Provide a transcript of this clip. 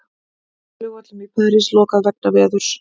Flugvöllum í París lokað vegna veðurs